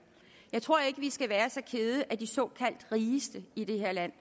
jeg tror ikke at vi skal være så kede af de såkaldt rigeste i det her land